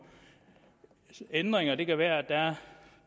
ændringer det kan være at der er